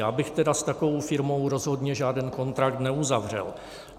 Já bych tedy s takovou firmou rozhodně žádný kontrakt neuzavřel.